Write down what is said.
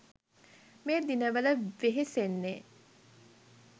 මේ දිනවල වෙහෙසෙන්නෙ.